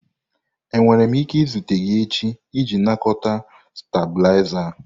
Enwere m ike izute gị echi iji nakọta stabilizer?